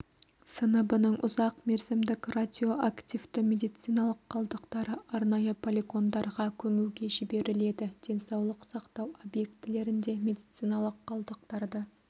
сыныбының ұзақ мерзімдік радиоактивті медициналық қалдықтары арнайы полигондарға көмуге жіберіледі денсаулық сақтау объектілерінде медициналық қалдықтарды